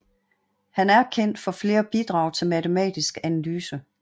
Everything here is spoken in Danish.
Han er kendt for flere bidrag til matematisk analyse